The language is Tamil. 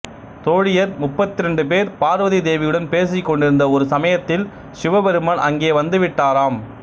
தோழியர் முப்பத்திரண்டு பேர் பார்வதி தேவியுடன் பேசிக் கொண்டிருந்த ஒரு சமயத்தில் சிவபெருமான் அங்கே வந்து விட்டாராம்